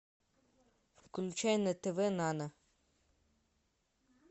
включай на тв нано